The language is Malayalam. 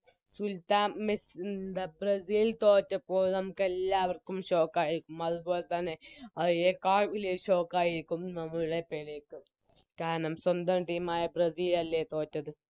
സുൽത്താൻ മെ ബ്രസീൽ തോറ്റപ്പോൾ നമുക്കെല്ലാവർക്കും Shock ആയിരുന്നു അത്പോലെതന്നെ അയിനെക്കാൾ വെല്യ Shock ആയിരിക്കും നമ്മുടെ പെലെക്ക് കാരണം സ്വന്തം Team ആയ ബ്രസീൽ അല്ലെ തോറ്റത്